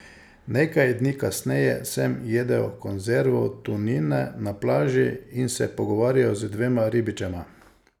Nekaj dni kasneje sem jedel konzervo tunine na plaži in se pogovarjal z dvema ribičema.